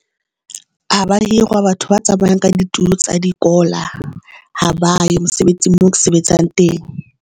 Ha ba hirwa batho ba tsamayang ka ditulo tsa dikola ha ba yo mosebetsi moo ke sebetsang teng.